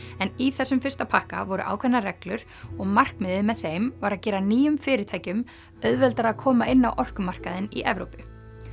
en í þessum fyrsta pakka voru ákveðnar reglur og markmiðið með þeim var að gera nýjum fyrirtækjum auðveldara að koma inn á orkumarkaðinn í Evrópu